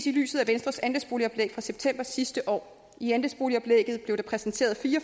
i lyset af venstres andelsboligoplæg fra september sidste år i andelsboligoplægget blev der præsenteret fire